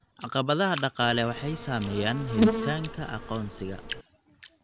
Caqabadaha dhaqaale waxay saameeyaan helitaanka aqoonsiga.